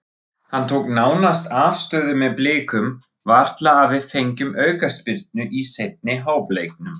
Hann tók nánast afstöðu með Blikum, varla að við fengjum aukaspyrnu í seinni hálfleiknum.